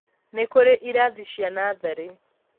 nĩkũrĩ irathi cia natharĩ